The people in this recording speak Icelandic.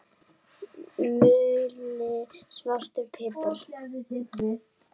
Mulinn svartur pipar